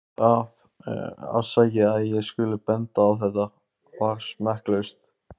Það- afsakið að ég skuli benda á þetta- var smekklaust.